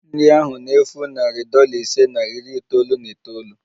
Nri ahụ na-efu narị dollar ise na iri itoolu na itoolu